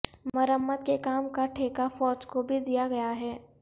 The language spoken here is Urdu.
مرمت کے کام کا ٹھیکہ فوج کو بھی دیا گیا ہے